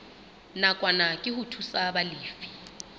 nakwana ke ho thusa balefi